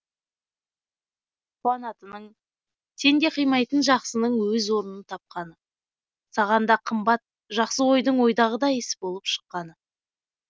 қуанатының сен де қимайтын жақсының өз орынын тапқаны саған да қымбат жақсы ойдың ойдағыдай іс болып шыққаны